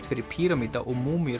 fyrir píramída og